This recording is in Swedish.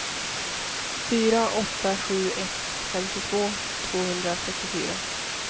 fyra åtta sju ett femtiotvå tvåhundrafyrtiofyra